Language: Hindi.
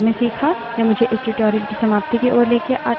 यह मुझे इस tutorial की समाप्ति की ओर लाता है